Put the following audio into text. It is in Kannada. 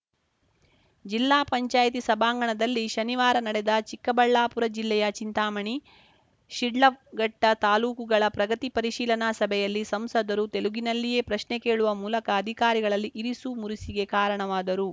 ಜಿಲ್ಲಾ ಪಂಚಾಯಿತಿ ಸಭಾಂಗಣದಲ್ಲಿ ಶನಿವಾರ ನಡೆದ ಚಿಕ್ಕಬಳ್ಳಾಪುರ ಜಿಲ್ಲೆಯ ಚಿಂತಾಮಣಿ ಶಿಡ್ಲಘಟ್ಟ ತಾಲೂಕುಗಳ ಪ್ರಗತಿ ಪರಿಶೀಲನಾ ಸಭೆಯಲ್ಲಿ ಸಂಸದರು ತೆಲುಗಿನಲ್ಲಿಯೇ ಪ್ರಶ್ನೆ ಕೇಳುವ ಮೂಲಕ ಅಧಿಕಾರಿಗಳಲ್ಲಿ ಇರಿಸು ಮುರಿಸಿಗೆ ಕಾರಣವಾದರು